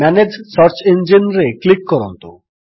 manage search ଇଞ୍ଜିନ୍ରେ click କରନ୍ତୁ